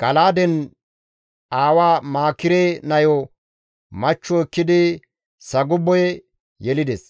Gala7aade aawa Maakire nayo machcho ekkidi Sagube yelides.